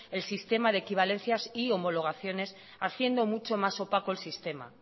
el sistema de equivalencias y homologaciones haciendo mucho más opaco el sistema